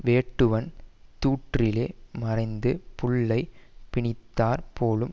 வேட்டுவன் தூற்றிலே மறைந்து புள்ளைப் பிணித்தாற் போலும்